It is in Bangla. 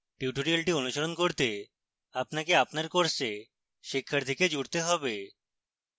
tutorial অনুশীলন করতে আপনাকে আপনার course শিক্ষার্থীকে জুড়তে হবে